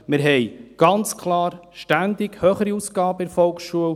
Wir haben ganz klar ständig höhere Ausgaben bei der Volksschule.